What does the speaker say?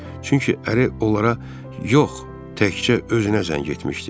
Çünki əri onlara yox, təkcə özünə zəng etmişdi.